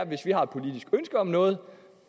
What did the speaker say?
hvis vi har et politisk ønske om noget